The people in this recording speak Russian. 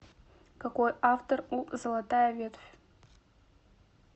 какой автор у золотая ветвь